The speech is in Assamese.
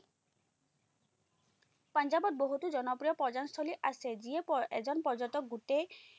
পাঞ্জাৱত বহুতো জনপ্ৰিয় পৰ্যটনস্থলী আছে, যিয়ে এজন পৰ্যটক গোটেই